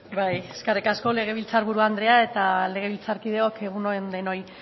eskerrik asko legebiltzar buru andrea eta legebiltzarkideok egun on denoi